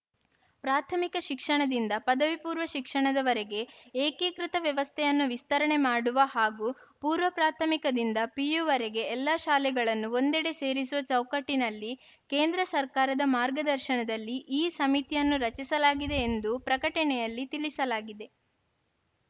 ಪ್ರಾಥಮಿಕ ಶಿಕ್ಷಣದಿಂದ ಪದವಿ ಪೂರ್ವ ಶಿಕ್ಷಣದವರೆಗೆ ಏಕೀಕೃತ ವ್ಯವಸ್ಥೆಯನ್ನು ವಿಸ್ತರಣೆ ಮಾಡುವ ಹಾಗೂ ಪೂರ್ವ ಪ್ರಾಥಮಿಕದಿಂದ ಪಿಯುವರೆಗೆ ಎಲ್ಲ ಶಾಲೆಗಳನ್ನು ಒಂದೆಡೆ ಸೇರಿಸುವ ಚೌಕಟ್ಟಿನಲ್ಲಿ ಕೇಂದ್ರ ಸರ್ಕಾರದ ಮಾರ್ಗದರ್ಶನದಲ್ಲಿ ಈ ಸಮಿತಿಯನ್ನು ರಚಿಸಲಾಗಿದೆ ಎಂದು ಪ್ರಕಟಣೆಯಲ್ಲಿ ತಿಳಿಸಲಾಗಿದೆ